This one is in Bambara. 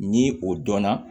Ni o dɔnna